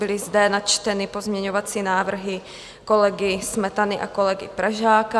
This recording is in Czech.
Byly zde načteny pozměňovací návrhy kolegy Smetany a kolegy Pražáka.